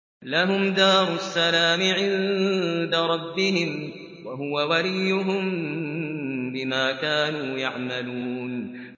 ۞ لَهُمْ دَارُ السَّلَامِ عِندَ رَبِّهِمْ ۖ وَهُوَ وَلِيُّهُم بِمَا كَانُوا يَعْمَلُونَ